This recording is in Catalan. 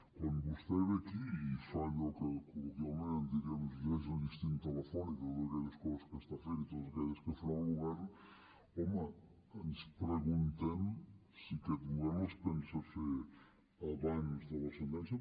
quan vostè ve aquí i fa allò que col·loquialment en diríem ens llegeix el llistín telefònic de totes aquelles coses que està fent i totes aquelles que farà el govern home ens preguntem si aquest govern les pensa fer abans de la sentència